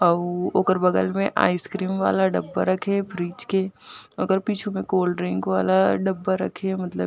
अउ ओकर बगल में आइसक्रीम वाला डब्बा रखे हे फ्रीज के ओकर पीछु में कोल्डड्रिंक वाला डब्बा रखे हे मतलब--